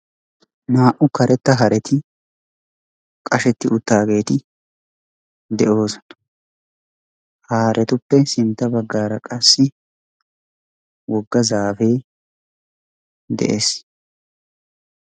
naa''u karetta hareti qashsheti uttaageeti de'oosona. ha haretuppe sintta baggaara qassi wogga zaafe de'ees.